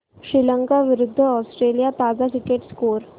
श्रीलंका विरूद्ध ऑस्ट्रेलिया ताजा cricket score